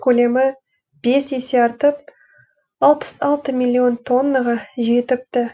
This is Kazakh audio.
көлемі бес есе артып алпыс алты миллион тоннаға жетіпті